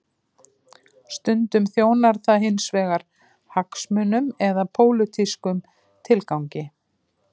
Stundum þjónar það hins vegar hagsmunum eða pólitískum tilgangi.